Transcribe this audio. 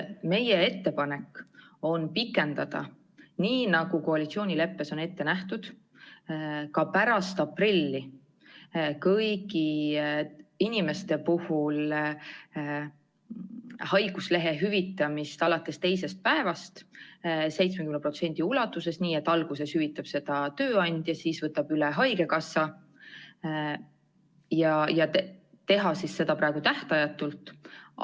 Meie ettepanek on pikendada, nagu koalitsioonileppes on ette nähtud, ka pärast aprilli kõigi inimeste puhul haiguspäevade hüvitamist alates teisest päevast 70% ulatuses, nii et alguses hüvitab tööandja ja siis haigekassa, ning teha seda praegu tähtajatult.